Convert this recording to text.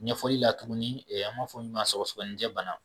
Ɲɛfɔli la tuguni an b'a fɔ min ma sɔgɔsɔgɔnijɛ bana